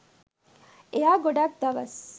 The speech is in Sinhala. එයා ගොඩක් දවස්